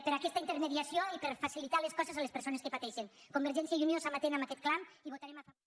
per aquesta intermediació i per facilitar les coses a les persones que pateixen convergència i unió està amatent a aquest clam i votarem a favor